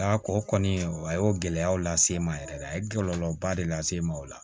o kɔni a y'o gɛlɛyaw lase n ma yɛrɛ de a ye kɔlɔlɔba de lase n ma o la